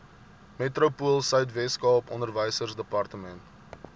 metropoolsuid weskaap onderwysdepartement